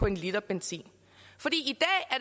en liter benzin